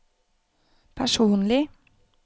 personlig